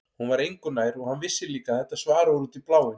Hún var engu nær og hann vissi líka að þetta svar var út í bláinn.